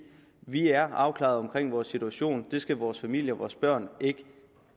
vi er afklaret omkring vores situation og det skal vores familier og vores børn ikke